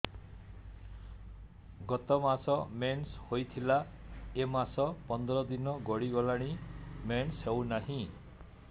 ଗତ ମାସ ମେନ୍ସ ହେଇଥିଲା ଏ ମାସ ପନ୍ଦର ଦିନ ଗଡିଗଲାଣି ମେନ୍ସ ହେଉନାହିଁ